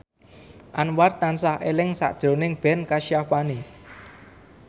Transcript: Anwar tansah eling sakjroning Ben Kasyafani